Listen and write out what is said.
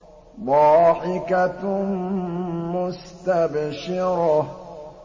ضَاحِكَةٌ مُّسْتَبْشِرَةٌ